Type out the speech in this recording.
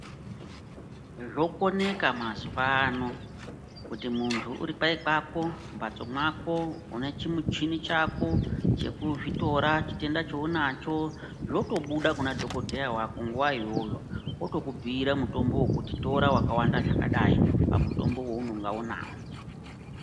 Zvokoneka mazuwa ano, kuti muntu uri kwai mwako, mumphatso mwako, une chimuchini chako, chekuzvitora chitenda chounacho, zvotobuda kuna dhokodheya wako, nguwa iyoyo, otokubhira mutombo wekutora ,kuti tora mutombo wakawanda zvakadai pamutombo weunonga unawo.